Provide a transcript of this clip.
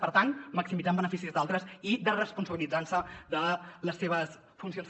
per tant maximitzar en benefici d’altres i desresponsabilitzant se de les seves funcions